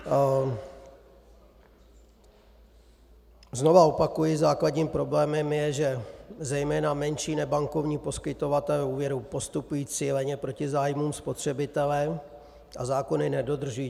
Znova opakuji, základním problémem je, že zejména menší nebankovní poskytovatelé úvěru postupují cíleně proti zájmům spotřebitele a zákony nedodržují.